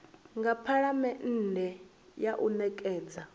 nga phalamennde kha u nekedza